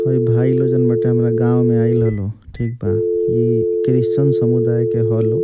हइ भाई लोग जोन बाटे हमरा गांव मे आइल हलो ठीक बा इ क्रिश्चन समुदाय के ह लोग।